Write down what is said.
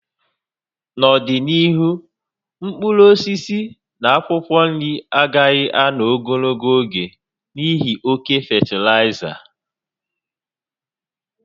N'ọdịnihu, mkpụrụ osisi na akwụkwọ nri agaghị ànọ́ ogologo oge n'ihi oke fatịlaịza